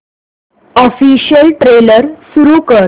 official trailer सुरू कर